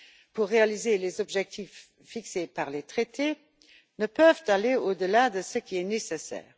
pour réaliser les objectifs fixés par les traités ne peuvent aller au delà de ce qui est nécessaire.